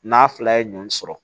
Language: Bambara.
N'a fila ye ɲɔn sɔrɔ